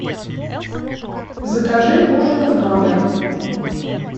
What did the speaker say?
закажи ужин в номер